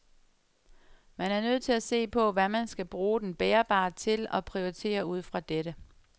Man er nødt til at se på, hvad man skal bruge den bærbare til og prioritere ud fra dette.